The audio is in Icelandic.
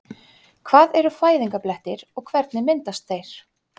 Hvað eru fæðingarblettir og hvernig myndast þeir?